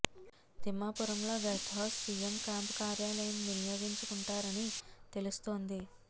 తిమ్మాపురంలో guest house CM camp కార్యాలయం వినియోగించుకుంటారని తెలుస్తోంది